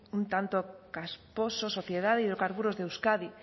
un tanto casposo sociedad de hidrocarburos de euskadi